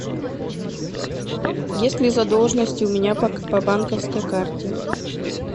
есть ли задолженности у меня по банковской карте